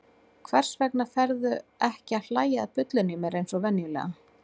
Hvers vegna ferðu ekki að hlæja að bullinu í mér eins og venjulega?